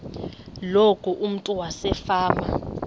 loku umntu wasefama